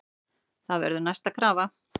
Það verður næsta krafa.